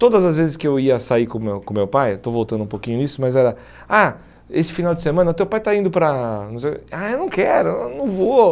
Todas as vezes que eu ia sair com o meu com o meu pai, estou voltando um pouquinho nisso, mas era, ah, esse final de semana o teu pai está indo para... não sei, Ah, eu não quero, eu não vou.